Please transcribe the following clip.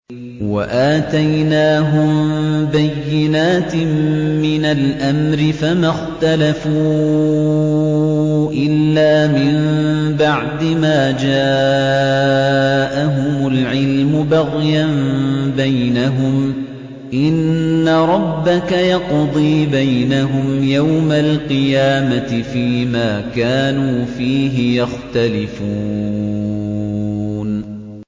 وَآتَيْنَاهُم بَيِّنَاتٍ مِّنَ الْأَمْرِ ۖ فَمَا اخْتَلَفُوا إِلَّا مِن بَعْدِ مَا جَاءَهُمُ الْعِلْمُ بَغْيًا بَيْنَهُمْ ۚ إِنَّ رَبَّكَ يَقْضِي بَيْنَهُمْ يَوْمَ الْقِيَامَةِ فِيمَا كَانُوا فِيهِ يَخْتَلِفُونَ